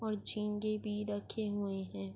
اور جھینگے بھی رکھے ہوئے ہے۔